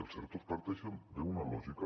els ertos parteixen d’una lògica